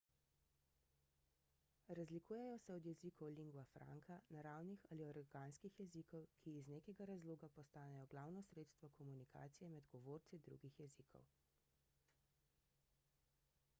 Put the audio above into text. razlikujejo se od jezikov lingua franca naravnih ali organskih jezikov ki iz nekega razloga postanejo glavno sredstvo komunikacije med govorci drugih jezikov